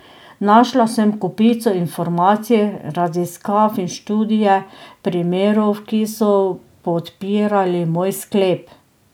Našla sem kopico informacij, raziskav in študije primerov, ki so podpirali moj sklep.